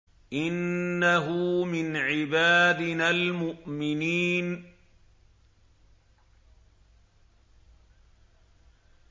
إِنَّهُ مِنْ عِبَادِنَا الْمُؤْمِنِينَ